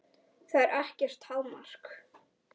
Það er ekkert hámark.